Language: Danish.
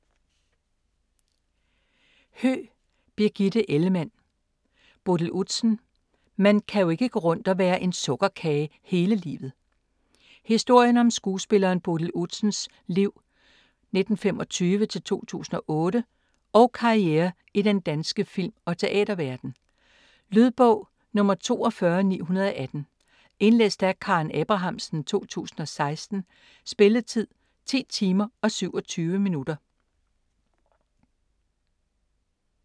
Höegh, Birgitte Ellemann: Bodil Udsen: man kan jo ikke gå rundt og være en sukkerkage hele livet Historien om skuespilleren Bodil Udsens (1925-2008) liv og karriere i den danske film- og teaterverden. Lydbog 42918 Indlæst af Karen Abrahamsen, 2016. Spilletid: 10 timer, 27 minutter.